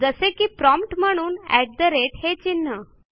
जसे की प्रॉम्प्ट म्हणून अट ठे राते हे चिन्ह